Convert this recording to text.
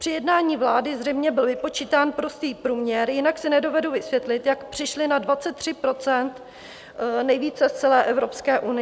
Při jednání vlády zřejmě byl vypočítán prostý průměr, jinak si nedovedu vysvětlit, jak přišli na 23 %- nejvíce z celé Evropské unie.